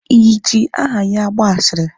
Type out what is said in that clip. Iji aha ya gbaa asịrị?